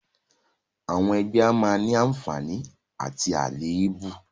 Àwọn ẹgbẹ́ a máa ní àǹfààní àti àléébù